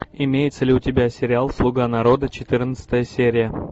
имеется ли у тебя сериал слуга народа четырнадцатая серия